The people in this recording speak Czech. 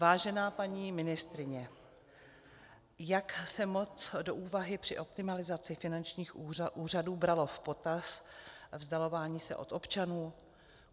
Vážená paní ministryně, jak se moc do úvahy při optimalizaci finančních úřadů bralo v potaz vzdalování se od občanů?